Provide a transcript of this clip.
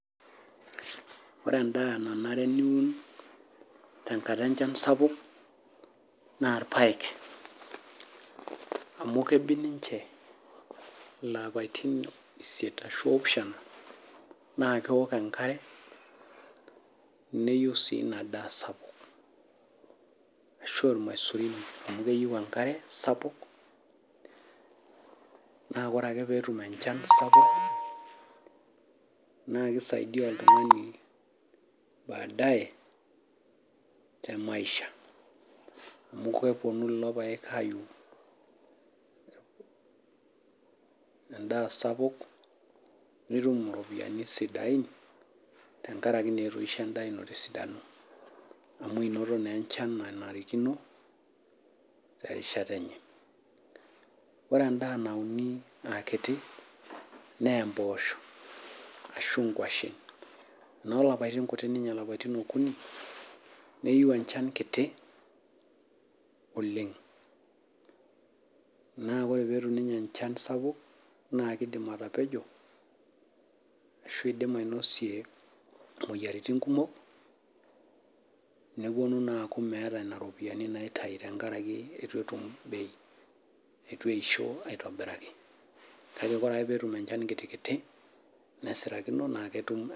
Ore endaa nenare niwun tenkata enchan sapuk naa irpaek, amu kebik ninche ilapatin isiet ashu oopishana, naa ekeok enkare neyiu sii inadaa sapuk ashu ilmashurini amu keyeu enkare sapuk naa kore ake peetum enchan sapuk, naa keisaidia oltungani baadae temaisha amu keponu lelo irpaek aaiyiuu endaa sapuk nitum iropiyiani sidain tengaraki naa etoishe indaa ino te sidano, amu enoto naa inchan nanarikino terishata enye. Ore endaa nauni aakiti naa emposho, ashu enkoshen. Noo lapatin kutii ninye lapatin okuni neyeu enchan kiti oleng naa kore petum ninye enchan sapuk naa keidim atapejo ashu eidim ainosie imoyiaritin kumok neponu naa aaku meeta nena iropiyiani naitai tengaraki eitu etum bei, eitu eisho aitobiraki kake ore ake peetum enchan kiti nesirakino naa ketum.